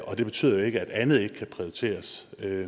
og det betyder ikke at andet ikke kan prioriteres